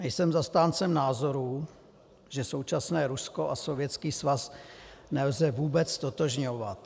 Nejsem zastáncem názoru, že současné Rusko a Sovětský svaz nelze vůbec ztotožňovat.